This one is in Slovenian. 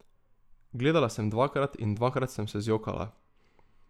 Gledala sem dvakrat in dvakrat sem se zjokala.